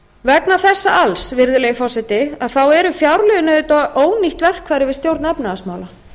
vegna þessa alls virðulegi forseti eru fjárlögin auðvitað ónýtt verkfæri við stjórn efnahagsmála